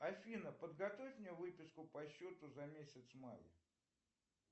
афина подготовь мне выписку по счету за месяц май